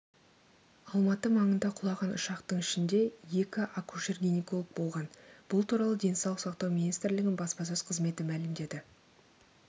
алматы маңында құлаған ұшақтың ішінде екі акушер-гинеколог болған бұл туралы денсаулық сақтау министрлігінің баспасөз қызметі мәлімдеді